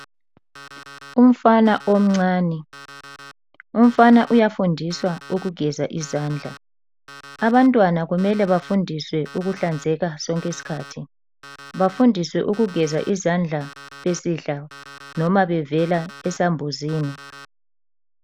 Umfana omncane, umfana uyafundiswa ukugeza izandla. Abantwana kumele bafundiswe ukuhlanzeka sonke isikhathi, bafundiswe ukugeza izandla besidla noma bevela esambuzini.